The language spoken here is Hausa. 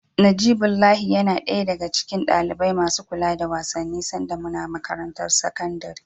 Najibullahi yana ɗaya daga cikin ɗalibai masu kula da wasanni sanda muna makarantar sakandare.